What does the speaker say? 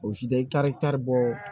O si tɛ i taa i taari bɔ